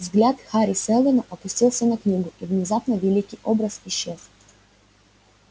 взгляд хари сэлдона опустился на книгу и внезапно великий образ исчез